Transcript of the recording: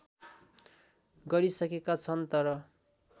गरिसकेका छन् तर